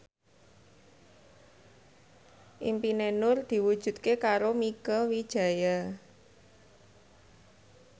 impine Nur diwujudke karo Mieke Wijaya